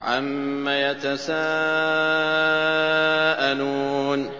عَمَّ يَتَسَاءَلُونَ